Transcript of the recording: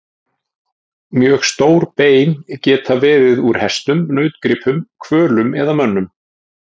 Mjög stór bein geta verið úr hestum, nautgripum, hvölum eða mönnum.